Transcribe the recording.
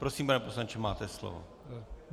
Prosím, pane poslanče, máte slovo.